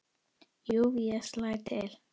Jú, ég slæ til